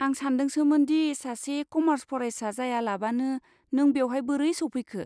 आं सानदोंसोमोन दि सासे कमार्स फरायसा जायालाबानो नों बेवहाय बोरै सौफैखो।